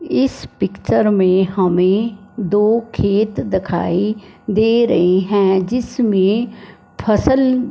इस पिक्चर में हमें दो खेत दिखाई दे रहे हैं जिसमें फसल--